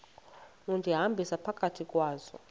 undihambisa phakathi kwazo